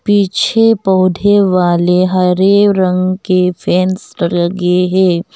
पिछे पौधे वाले हरे रंग के फेन्स लगे है।